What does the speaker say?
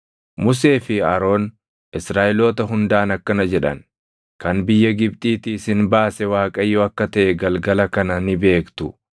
Musee fi Aroon Israaʼeloota hundaan akkana jedhan; “Kan biyya Gibxiitii isin baase Waaqayyo akka taʼe galgala kana ni beektu.